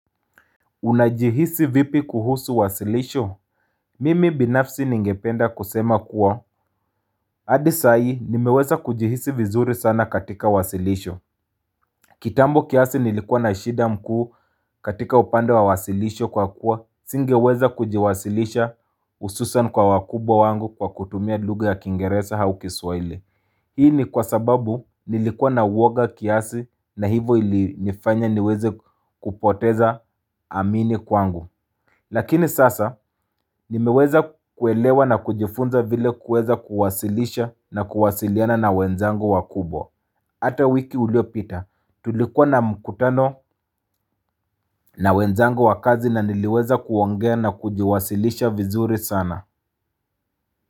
Unajihisi vipi kuhusu wasilisho? Mimi binafsi ningependa kusema kuwa adi saa hii nimeweza kujihisi vizuri sana katika wasilisho kitambo kiasi nilikuwa na shida mkuu katika upande wa wasilisho kwa kuwa singeweza kujiwasilisha hususan kwa wakubo wangu kwa kutumia lugha ya kingeresa au kiswahili Hii ni kwa sababu nilikuwa na uwoga kiasi na hivo ili nifanya niweze kupoteza amini kwangu Lakini sasa, nimeweza kuelewa na kujifunza vile kueza kuwasilisha na kuwasiliana na wenzango wakubwa. Ata wiki ulio pita, tulikuwa na mkutano na wenzango wakazi na niliweza kuongea na kujiwasilisha vizuri sana.